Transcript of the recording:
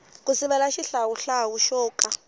ku sivela xihlawuhlawu xo ka